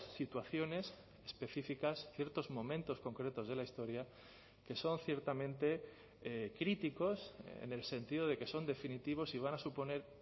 situaciones específicas ciertos momentos concretos de la historia que son ciertamente críticos en el sentido de que son definitivos y van a suponer